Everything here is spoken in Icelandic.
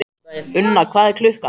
Unna, hvað er klukkan?